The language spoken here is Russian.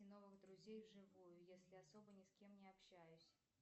новых друзей в живую если особо ни с кем не общаюсь